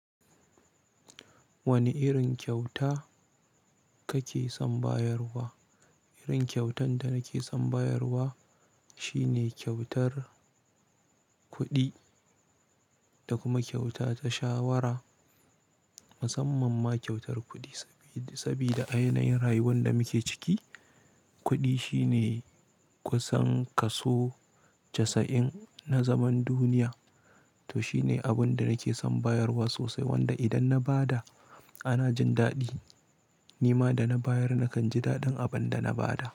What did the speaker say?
Wane irin kyauta kake son bayarwa? Irin kyautan da nake son bayarwa shi ne kyautar kuɗi da kuma kyauta ta shawara. Musamman ma kyautar kuɗi, sabida, sabida a yanayin rayuwan da muke ciki, kuɗi shine kusan kaso casa'in na zaman duniya. To shi ne abin da nake son bayarwa sosai, wanda idan na ba da ana jin daɗi. Nima da na bayar nakan ji daɗin abin da na ba da.